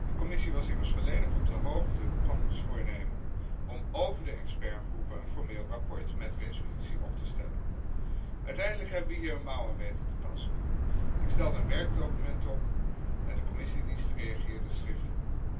De Commissie was immers volledig op de hoogte van ons voornemen om over de expertgroepen een formeel verslag met resolutie op te stellen. Uiteindelijk hebben we hier weten een mouw aan te passen. Ik stelde een werkdocument op en de Commissiediensten reageerden schriftelijk.